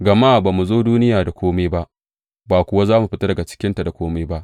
Gama ba mu zo duniya da kome ba, ba kuwa za mu fita daga cikinta da kome ba.